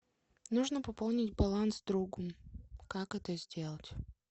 нужно пополнить баланс другу как это сделать